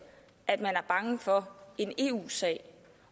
at man er bange for en eu sag